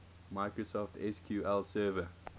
microsoft sql server